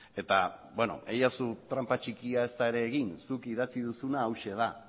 eta beno egidazu tranpa txikia ez da ere egin zuk idatzi duzuna hauxe da